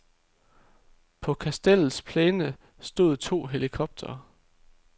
På kastellets plæne stod to helikoptere.